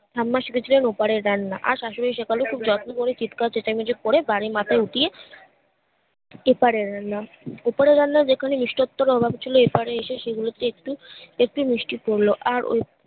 ঠাম্মা শিখেছিলেন ও পারের রান্না আর শাশুড়ি শেখালো খুব যত্ন করে চিৎকার চেচামেচি করে বাড়ি মাথায় উঠিয়ে ওপারের রান্না ওপারের রান্না যেখানে মিষ্টত্বর অভাবে ছিলো এপারে এসে সেগুলোতে একটু একটু মিষ্টি পড়লো আর ওই